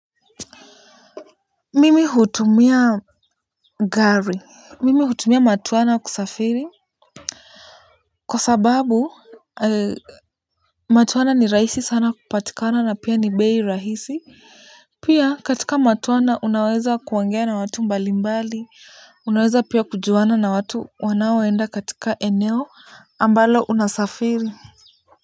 Mimi hutumia gari. Mimi hutumia matuana kusafiri. Kwa sababu matwana ni rahisi sana kupatikana na pia ni bei rahisi. Pia katika matwana unaweza kuangea na watu mbalimbali. Unaweza pia kujuana na watu wanaoenda katika eneo ambalo unasafiri.